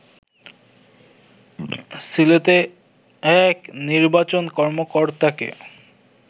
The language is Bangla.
সিলেটে এক নির্বাচন কর্মকর্তাকে